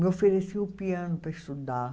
Me ofereciam o piano para estudar.